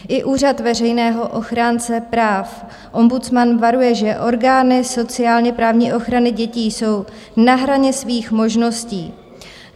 I úřad veřejného ochránce práv, ombudsman, varuje, že orgány sociálně-právní ochrany dětí jsou na hraně svých možností.